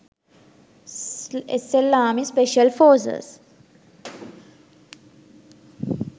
slarmy special forces